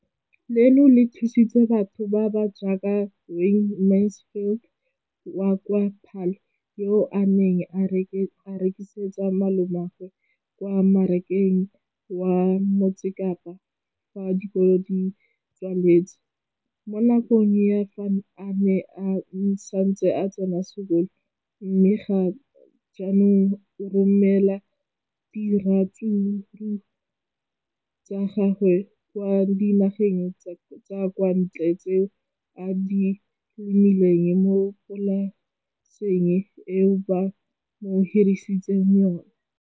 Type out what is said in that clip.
Leno le thusitse batho ba ba jaaka Wayne Mansfield, 33, wa kwa Paarl, yo a neng a rekisetsa malomagwe kwa Marakeng wa Motsekapa fa dikolo di tswaletse, mo nakong ya fa a ne a santse a tsena sekolo, mme ga jaanong o romela diratsuru tsa gagwe kwa dinageng tsa kwa ntle tseo a di lemileng mo polaseng eo ba mo hiriseditseng yona.